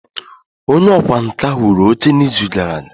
Onye ọkwá nkà wuru oche n'izu gara aga?